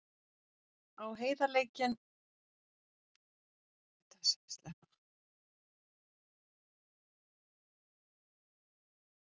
Á heiðarleikann ofan er ég kominn í tímaþröng.